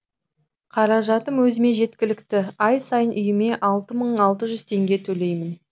қаражатым өзіме жеткілікті ай сайын үйіме алты мың алты жүз теңге төлеймін